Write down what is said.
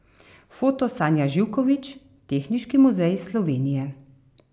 Foto Sanja Živković, Tehniški muzej Slovenije.